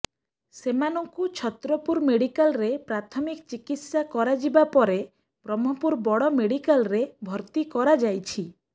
ସେମାନଙ୍କୁ ଛତ୍ରପୁର ମେଡ଼ିକାଲରେ ପ୍ରାଥମିକ ଚିକିତ୍ସା କରାଯିବା ପରେ ବ୍ରହ୍ମପୁର ବଡ଼ ମେଡ଼ିକାଲରେ ଭର୍ତ୍ତି କରାଯାଇଛି